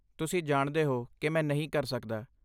ਤੁਸੀਂ ਜਾਣਦੇ ਹੋ ਕਿ ਮੈਂ ਨਹੀਂ ਕਰ ਸਕਦਾ।